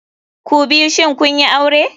Kubiyu shin kunyi aure?